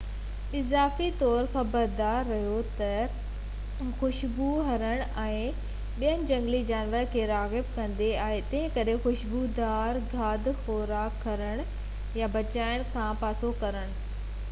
اضافي طور، خبردار رھو ته خشبوءِ هرڻين ۽ ٻين جهنگلي جانورن کي راغب ڪندي آهي ، تنھنڪري خوشبودار کاڌ خوراڪ کڻڻ يا پچائڻ کان پاسو ڪريو ۽ صاف ڪئمپ رکو